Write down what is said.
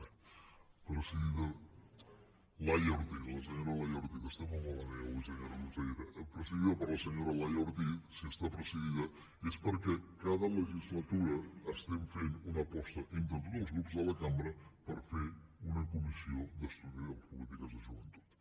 bé laia ortiz la senyora laia ortiz estem molt malament avui senyora consellera presidida per la senyora laia ortiz és perquè cada legislatura estem fent una aposta entre tots els grups de la cambra per fer una comissió d’estudi de les polítiques de joventut